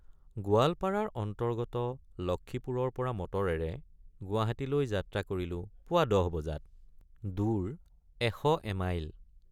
গোৱালপাৰাৰ অন্তৰ্গত লক্ষ্মীপুৰৰপৰা মটৰেৰে গুৱাহাটীলৈ যাত্ৰা কৰিলোঁ পুৱা ১০ বজাত—দূৰ এশ এমাইল।